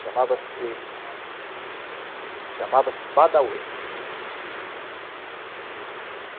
Chamava-se... Montou um bar. Chamava-se Badauê.